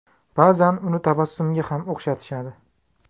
Ba’zan uni tabassumga ham o‘xshatishadi.